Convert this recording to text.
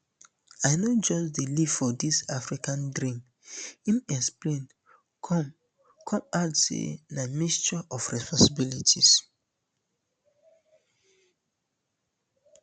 i no just dey leave for dis african dream im explain come come add say na mixture um of responsibility